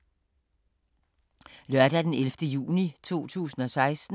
Lørdag d. 11. juni 2016